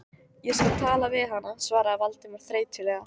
Ég skal tala við hana- svaraði Valdimar þreytulega.